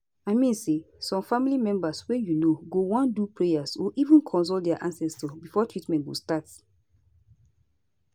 i mean say some family members wey u know go wan do prayer or even consult dia ancestors before treatment go start